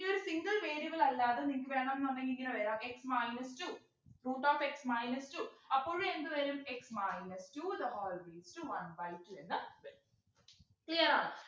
ഇനി ഒരു single variable അല്ലാതെ നിങ്ങക്ക് വേണോന്നുണ്ടെങ്കിൽ ഇങ്ങനെ വരാം x minus two root of x minus two അപ്പോഴും എന്ത് വരും x minus two the whole raised to one by two എന്നു വരും clear ആണോ